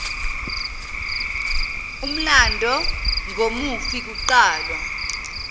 umlando ngomufi kuqalwa